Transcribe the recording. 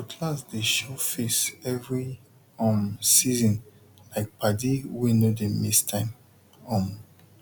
cutlass dey show face every um seasonlike padi wey no dey miss time um